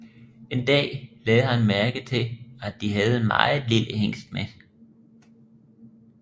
En dag lagde han mærke til at de havde en meget lille hingst med